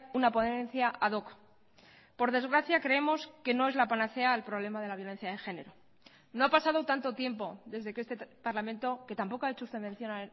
una ponencia ad hoc por desgracia creemos que no es la panacea al problema de la violencia de género no ha pasado tanto tiempo desde que este parlamento que tampoco ha hecho usted mención